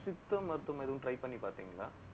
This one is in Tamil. சித்தா மருத்துவம் எதுவும் try பண்ணி பாத்தீங்களா